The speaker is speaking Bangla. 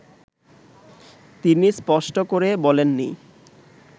তিনি স্পষ্ট করে বলেন নি